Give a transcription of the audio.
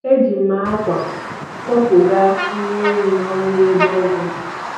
Eji m akwa kwọpụga nwa ehi nọhịa ebe ogwu dị